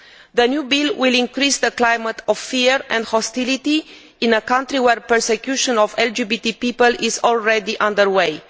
The new bill will increase the climate of fear and hostility in a country where persecution of LGBT people is already under way.